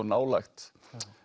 nálægt